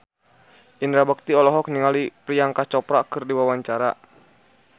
Indra Bekti olohok ningali Priyanka Chopra keur diwawancara